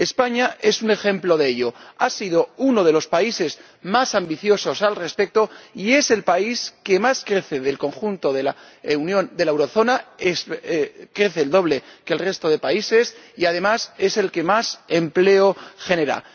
España es un ejemplo de ello. Ha sido uno de los países más ambiciosos al respecto y es el país que más crece del conjunto de la eurozona —crece el doble que el resto de países— y, además, es el que más empleo genera.